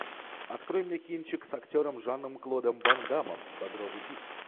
открой мне кинчик с актером жаном клодом ван даммом багровый пик